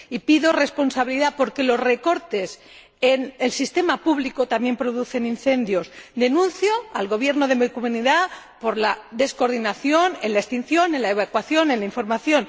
Y pido responsabilidad porque los recortes en el sistema público también producen incendios. Denuncio al Gobierno de mi Comunidad por la descoordinación en la extinción, en la evacuación y en la información.